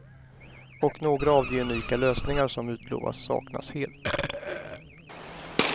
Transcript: Och några av de unika lösningar som utlovats saknas helt.